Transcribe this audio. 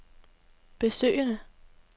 besøgende